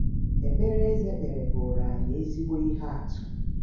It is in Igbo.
Ekpere Eze kpere bụụrụ anyị ezigbo ihe atụ